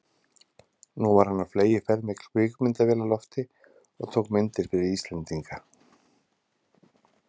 Nú var hann á fleygiferð með kvikmyndavél á lofti og tók myndir fyrir Íslendinga.